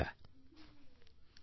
phone call 2